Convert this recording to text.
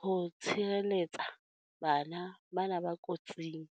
ho tshireletsa bana bana ba kotsing.